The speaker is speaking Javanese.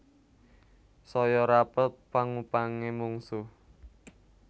Saya rapet pangupangé mungsuh